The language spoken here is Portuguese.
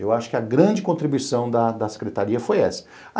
Eu acho que a grande contribuição da da Secretaria foi essa.